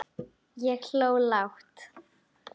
Þannig létu þeir um stund.